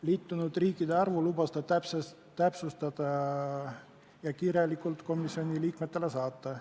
Liitunud riikide arvu lubas ta täpsustada ja vastuse kirjalikult komisjoni liikmetele saata.